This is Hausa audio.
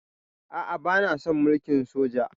A'a, bana son mulkin soja.